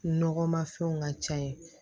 Nɔgɔmafɛnw ka ca ye